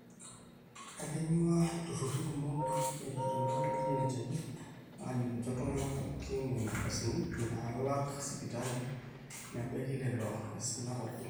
etonyuaa ilturrurri kumok erikito ilo oji NHIF aajo kinjo iltung'anak pooki nena ardasini naalak sipitali nebaiki lelo aisinak pooki